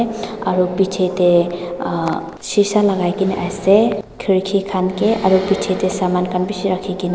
aro pichae tae ah shisha lakai kaena ase khirki khan kae aro bichae tae saman khan bishi rakhikena.